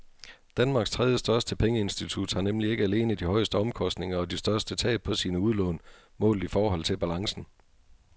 Danmarks tredjestørste pengeinstitut har nemlig ikke alene de højeste omkostninger og de største tab på sine udlån målt i forhold til balancen.